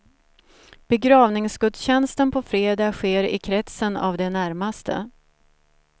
Begravningsgudstjänsten på fredag sker i kretsen av de närmaste.